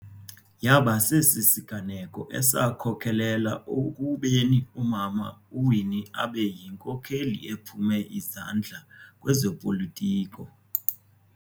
Yaba sesi siganeko esakhokelelwa ekubeni umama uWinnie abe yinkokheli ephume izandla kwezopolitiko.